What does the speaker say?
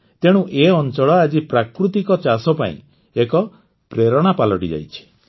ତେଣୁ ଏ ଅଂଚଳ ଆଜି ପ୍ରାକୃତିକ ଚାଷ ପାଇଁ ଏକ ପ୍ରେରଣା ପାଲଟିଯାଇଛି